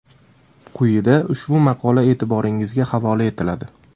Quyida ushbu maqola e’tiboringizga havola etiladi.